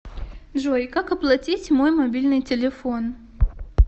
джой как оплатить мой мобильный телефон